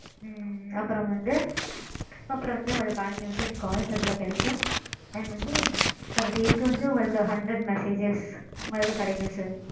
ம்ம். அப்பறோம் வந்து. அப்பறோம் வந்து உங்களுக்கு unlimited calls அதுல கிடைக்கும். and வந்து per day க்கு வந்து உங்களுக்கு hundred messages மாதிரி கிடைக்கும் sir.